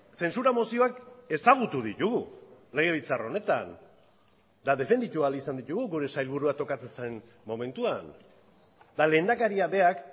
zentsura mozioak ezagutu ditugu legebiltzar honetan eta defenditu ahal izan ditugu gure sailburua tokatzen zen momentuan eta lehendakaria berak